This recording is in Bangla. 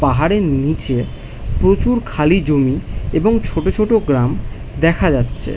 পাহাড়ের নিচে প্রচুর খালি জমি। এবং ছোটো ছোটো গ্রাম দেখা যাচ্ছে।